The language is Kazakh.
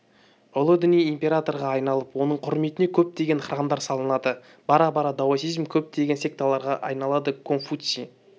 ұлы діни императорға айналып оның құрметіне көптеген храмдар салынады бара-бара даосизм көптеген секталарға айналады конфуций